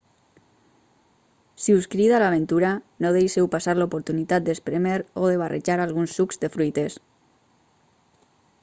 si us crida l'aventura no deixeu passar l'oportunitat d'esprémer o de barrejar alguns sucs de fruites